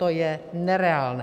To je nereálné.